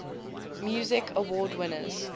music awards winners